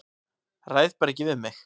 Ræð bara ekki við mig.